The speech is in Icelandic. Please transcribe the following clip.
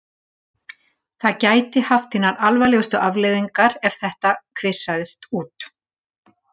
Það gæti haft hinar alvarlegustu afleiðingar ef þetta kvisaðist út.